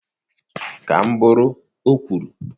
Ka m bụrụ, o kwuru